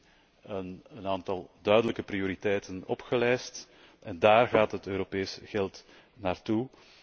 We hebben nu een aantal duidelijke prioriteiten opgesomd en dáár gaat het Europees geld naartoe.